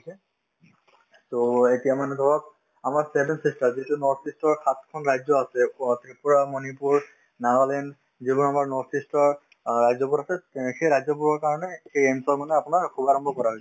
so, এতিয়া মানে ধৰক আমাৰ seven sister যিটো north-east ৰ সাতখন ৰাজ্য আছে অ ত্ৰিপুৰা, মণিপুৰ, নাগালেণ্ড যিবোৰ আমাৰ north-east ৰ অ ৰাজ্যবোৰ আছে তে সেই ৰাজ্যবোৰৰ কাৰণে এই AIMS ৰ মানে আপোনাৰ শুভাৰাম্ভ কৰা হৈছে